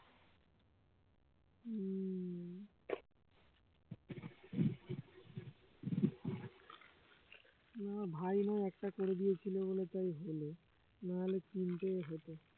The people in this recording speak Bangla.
না ভাই আমার একটা করে দিয়েছিল বলে তাই হল না হলে তিনটা হোত